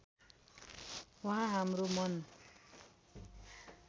उहाँ हाम्रो मन